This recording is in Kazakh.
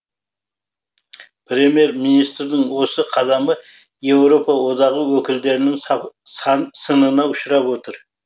премьер министрдің осы қадамы еуропа одағы өкілдерінің сынына ұшырап отыр